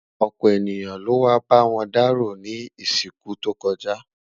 ọpọ ènìyàn ló wà b'awọn daro ní isiku tó kojá